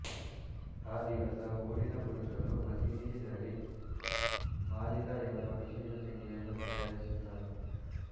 ಆ ದಿವಸ ಊರಿನ ಪುರುಷರು ಮಸೀದಿಗೆ ತೆರಳಿ ಮಾಲಿದಾ ಎಂಬ ವಿಶೇಷ ತಿಂಡಿಯನ್ನು ತಯಾರಿಸುತ್ತಾರೆ